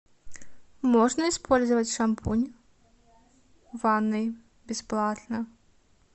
можно использовать шампунь в ванной бесплатно